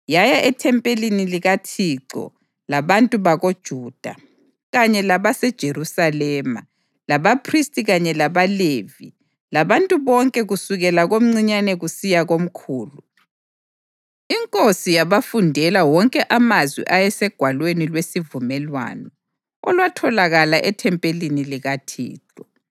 Yaya ethempelini likaThixo labantu bakoJuda, kanye labaseJerusalema, labaphristi kanye labaLevi labantu bonke kusukela komncinyane kusiya komkhulu. Inkosi yabafundela wonke amazwi ayeseGwalweni lweSivumelwano, olwatholakala ethempelini likaThixo.